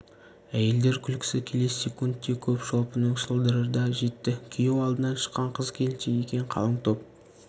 әйелдер күлкісі келесі секундте көп шолпының шылдыры да жетті күйеу алдынан шыққан қыз-келіншек екен қалың топ